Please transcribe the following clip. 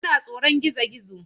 Yana tsoron gizo-gizo.